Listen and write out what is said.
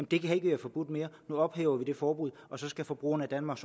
det kan ikke være forbudt mere nu ophæver vi det forbud og så skal forbrugerne i danmark